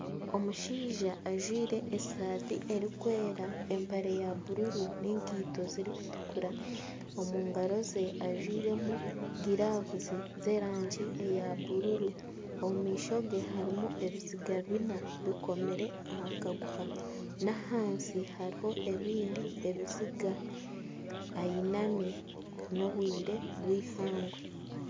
Omushaija ajwire eshati erikwera, empare ya bururu n'enkaito zirikutuukura omu ngaro ze ajwiremu giravu z'erangi ya bururu omu maisho gye harimu ebiziga bina bikomire aha kaguha, n'ahansi hariho ebindi biziga ayinami n'obwire bwihangwe